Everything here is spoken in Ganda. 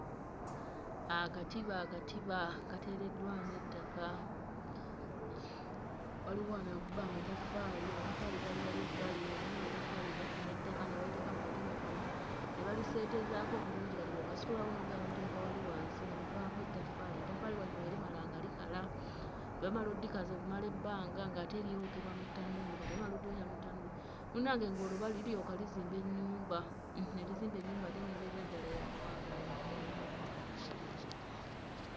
Akatiba akatiba kateereddwamu ettaka, waliwo wano akuba amataffaali, amatafaali gali wali ebbali, omanyi amataffaali bafuna ettaka ne baliteeka mu katiba kano ne baliseetezaako bulungi. Kati bw'okasitulawo n'ogenda n'oteeka wali wansi nga muvaamu etaffaali, etaffaali wano we limala nga likala, bwe bamala oddikaza okumala ebbanga ng'ate lyokebwa mu ttanuulu. Kati bwe bamala oddyokya mu ttanuulu munnange ng'olwo liryoka lizimba ennyumba, hmm ne lizimba ennyumba ate n'ebeerera ddala ya buwangaazi ddala.